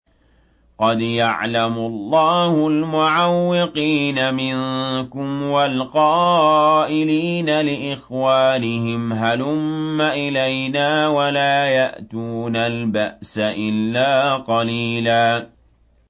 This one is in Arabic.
۞ قَدْ يَعْلَمُ اللَّهُ الْمُعَوِّقِينَ مِنكُمْ وَالْقَائِلِينَ لِإِخْوَانِهِمْ هَلُمَّ إِلَيْنَا ۖ وَلَا يَأْتُونَ الْبَأْسَ إِلَّا قَلِيلًا